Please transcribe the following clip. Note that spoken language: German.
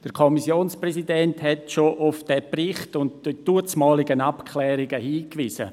Der Kommissionspräsident hat bereits auf diesen Bericht sowie die damaligen Abklärungen hingewiesen.